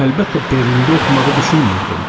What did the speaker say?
Əlbəttə, Berlində oxumağı düşünürdüm.